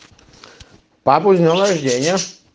папу с днём рождения